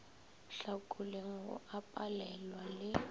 hlakoleng go a sepelwa le